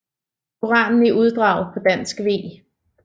Koranen i uddrag på dansk v